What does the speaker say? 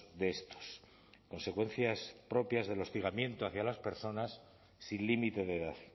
de estos consecuencias propias del hostigamiento hacia las personas sin límite de edad